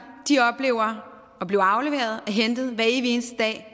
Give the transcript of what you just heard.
oplever at blive afleveret og hentet hver evig eneste dag